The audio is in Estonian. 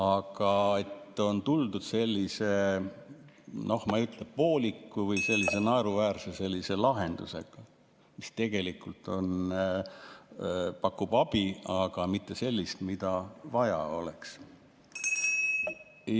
Aga on tuldud sellise, noh, ma ei ütle, et pooliku, aga sellise naeruväärse lahendusega, mis küll pakub abi, aga mitte sellist, mida tegelikult vaja oleks.